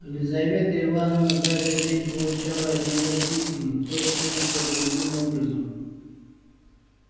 лизавета ивановна каждый день получала от него письма то тем то другим образом